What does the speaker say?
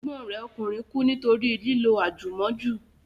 Ẹ̀gbọ́n rẹ̀ ọkùnrin kú nítorí lílo àjùmọ́jù